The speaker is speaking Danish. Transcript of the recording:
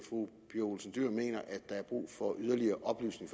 fru pia olsen dyhr mener at der er brug for yderligere oplysning